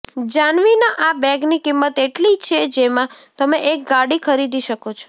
જ્હાનવીના આ બેગની કિંમત એટલી છે જેમાં તમે એક ગાડી ખરીદી શકો છો